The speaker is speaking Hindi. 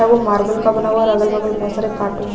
वो मार्बल का बना हुआ है और अगल -बगल बहुत सारे कार्टून --